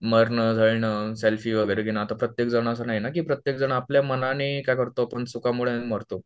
मरणं, झडणं सेल्फी वगैरे घेणं आता प्रत्येक जन असं नाहीये ना की प्रत्येक जन आपल्या मनाने काय करतो पण चुकांमुळे मरतो